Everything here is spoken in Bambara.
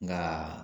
Nka